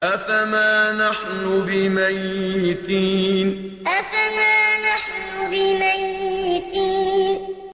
أَفَمَا نَحْنُ بِمَيِّتِينَ أَفَمَا نَحْنُ بِمَيِّتِينَ